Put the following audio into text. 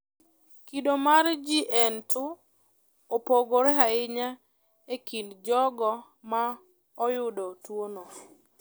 Kido mar GA2 opogore ahinya e kind jogo ma oyudo tuwono.